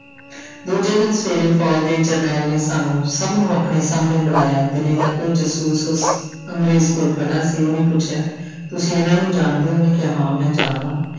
ਦੂਜੇ ਦਿਨ ਸਵੇਰੇ ਫ਼ੌਜ਼ ਦੇ ਜਰਨੈਲ ਨੇ ਸਾਨੂੰ ਸਭ ਨੂੰ ਆਪਣੇ ਸਾਹਮਣੇ ਬੁਲਾਇਆ ਦਿੱਲੀ ਦਾ ਕੋਈ ਜਾਸੂਸ ਉਸ ਅੰਗਰੇਜ਼ ਕੋਲ ਖੜਾ ਸੀ ਉਹਨੇ ਪੁੱਛਿਆ ਤੁਸੀਂ ਇਹਨਾਂ ਨੂੰ ਜਾਣਦੇ ਹੋ ਉਹਨੇ ਕਿਹਾ ਹਾਂ ਮੈਂ ਜਾਣਦਾ।